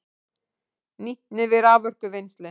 Nýtni við raforkuvinnslu